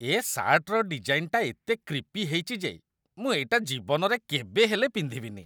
ଏ ସାର୍ଟର ଡିଜାଇନ୍‌ଟା ଏତେ କ୍ରିପି ହେଇଚି ଯେ ମୁଁ ଏଇଟା ଜୀବନରେ କେବେ ହେଲେ ପିନ୍ଧିବିନି ।